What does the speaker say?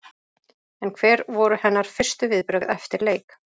En hver voru hennar fyrstu viðbrögð eftir leik?